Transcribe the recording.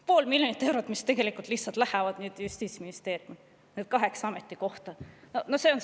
Pool miljonit eurot, mis lihtsalt läheb nüüd Justiitsministeeriumi, need kaheksa ametikohta.